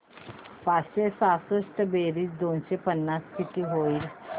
पाचशे सहासष्ट बेरीज दोनशे पन्नास किती होईल